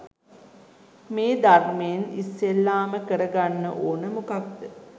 මේ ධර්මයෙන් ඉස්සෙල්ලාම කරගන්න ඕන මොකක්ද?